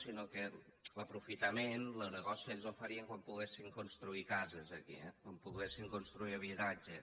sinó que l’aprofitament lo negoci ells lo farien quan poguessin construir cases aquí eh quan poguessin construir habitatge